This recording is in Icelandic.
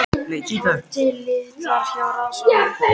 Það voru til litir hjá ráðsmanninum.